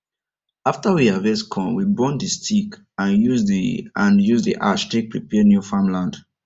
after we harvest corn we burn the stick and use the and use the ash take prepare new farm land